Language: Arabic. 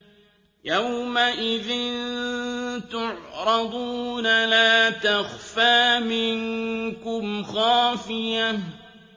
يَوْمَئِذٍ تُعْرَضُونَ لَا تَخْفَىٰ مِنكُمْ خَافِيَةٌ